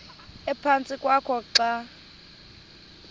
ephantsi kwakho xa